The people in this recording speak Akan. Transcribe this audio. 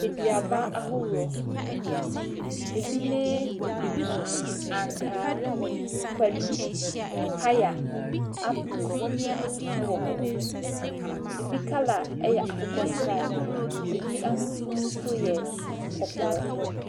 Aduaba ahodoɔ, bi ne ankaa, kwadu, paya, apple wɔ hɔ, bi colour yɛ akokɔsradeɛ, bi ahosuo yɛ kɔkɔɔ.